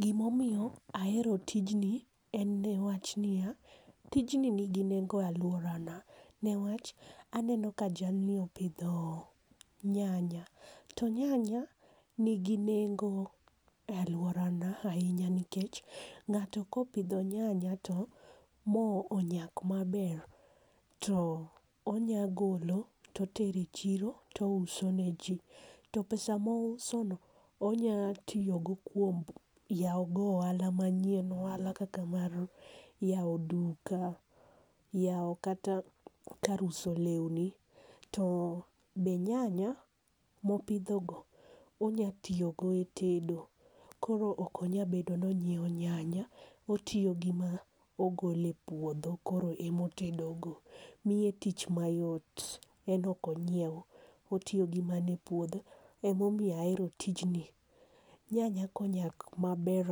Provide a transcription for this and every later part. Gi ma omiyo ahero tijni en ni wach ni ya, tijni ni gi nengo e aluora na ne wach aneno ka jalni opidho nyanya to nyanya ni gi nengo e aluora na ainya nikech ng'ato ka opidho nyanya ma onyak maber to onya golo to otero e chiro to ouso ne ji to pesa ma ouso no onya tiyo go kuom e yawo ohala ma nyien. Ohala kaka mar yawo duka, yawo kata kar uso lewni, to nyanya ma opidho go onya tiyo go e tedo koro ok onya bedo ni onyiewo nyanya otiyo gi ma ogolo e puodho koro ema otedo go miye tich ma yot en ok onyiew otiyo gi man e puodho ema omiyo ahero tij ni nyanya ka onyak ma ber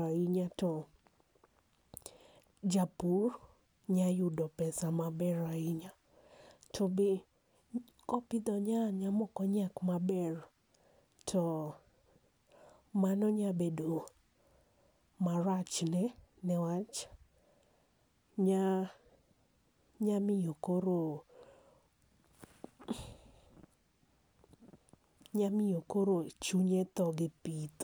ainya to japur nya yudo pesa ma ber ainya to be ko opidho nyanya ma ok onyak ma ber to mano nya bedo marach ne marach ma nya miyo koro, nya miyo koro chunye thoo gi pith.